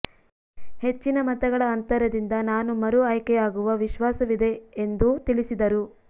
ಹೆಚ್ಚಿನ ಮತಗಳ ಅಂತರದಿಂದ ನಾನು ಮರು ಆಯ್ಕೆಯಾಗುವ ವಿಶ್ವಾಸವಿದೆ ಎಂದು ತಿಳಿಸಿದರು